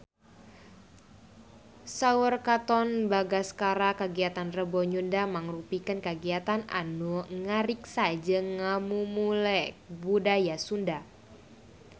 Saur Katon Bagaskara kagiatan Rebo Nyunda mangrupikeun kagiatan anu ngariksa jeung ngamumule budaya Sunda